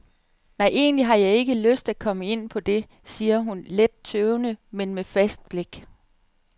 Nej, egentlig har jeg ikke lyst at komme ind på det, siger hun, let tøvende, men med fast blik.